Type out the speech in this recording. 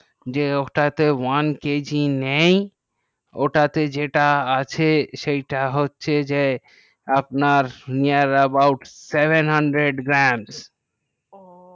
যে ওটাতে ও কেজি নেই ওটাতে যেটা আছে সেইটা হচ্ছে যে আপনার near about seven hundred gram